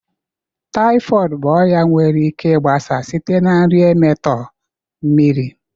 typhoid bụ ọrịa nwere ike gbasaa site na nri emetọọ, mmiri